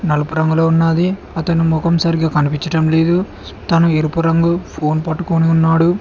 నలుపు రంగులో ఉన్నది అతను మొఖం సరిగ్గా కనిపిచటం లేదు తను ఎరుపు రంగు ఫోన్ పట్టుకొని ఉన్నాడు.